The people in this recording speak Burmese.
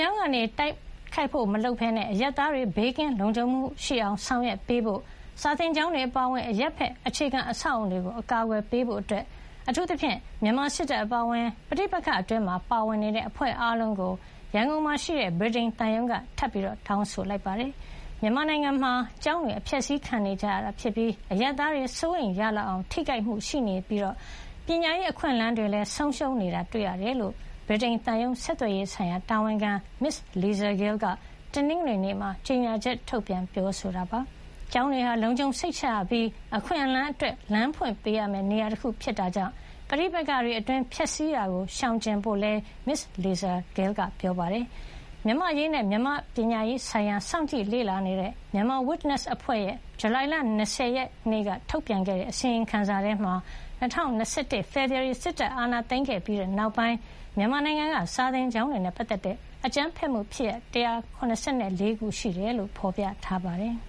ြောင်းတိုက်ခိုက်မှာရှောင်ပြီး အရပ်သားတွေ ဘေးကင်းလုံခြုံအောင် ဆောင်ရွက်ပေးဖို့၊ စာသင်ကျောင်းတွေအပါအဝင် အရပ်ဘက် အခြေခံအဆောက်အအုံတွေကို အကာအကွယ်ပေးဖို့ အတွက် အထူးသဖြင့် မြန်မာစစ်တပ်အပါအဝင် ပဋိပက္ခအတွင်း ပါဝင်နေကြတဲ့ အဖွဲ့အားလုံးကို ရန်ကုန်ရှိ ဗြိတိသျှသံရုံးက ထပ်မံတောင်းဆိုလိုက်ပါတယ်။ မြန်မာနိုင်ငံမှာ ကျောင်းတွေ အဖျက်ဆီးခံနေရပြီး အရပ်သားတွေမှာလည်း စိုးရိမ်ရလောက်အောင် ထိခိုက်မှုရှိနေရုံမက ပညာရေးအခွင့်အလမ်းတွေလည်း ဆုံးရှုံးနေတာတွေ့ရတယ်လို့ ဗြိတိသျှသံရုံးက တနင်္ဂနွေနေ့မှာ ကြေညာချက် ထုတ်ပြန်ပြောဆိုတာပါ။ ကျောင်းတွေဟာ လုံခြုံစိတ်ချရပြီး အခွင့်အလမ်းအတွက် လမ်းဖွင့်ပေးရမယ့်နေရာတခုဖြစ်တဲ့အတွက် ပဋိပက္ခတွေအတွင်း ဖျက်ဆီးတာကိုရှောင်ကြဖို့လည်း ပြောပါတယ်။ မြန်မာ့အရေးနဲ့ မြန်မာ့ပညာရေးဆိုင်ရာ စောင့်ကြည့်လေ့လာနေတဲ့ Myanmar Witness အဖွဲ့ရဲ့ ဇူလိုင်လ ၂၀ ရက်နေ့က ထုတ်ပြန်ခဲ့တဲ့အစီရင်ခံစာထဲမှာ ၂၀၂၁ ဖေဖော်ဝါရီလ စစ်တပ်အာဏာသိမ်းပြီး တဲ့နောက်ပိုင်း မြန်မာနိုင်ငံက စာသင်ကျောင်းတွေနဲ့ပတ်သက်တဲ့ အကြမ်းဖက်မှုဖြစ်ရပ် ၁၇၄ ခု ရှိကြောင်း ဖေါ်ပြထားပါတယ်။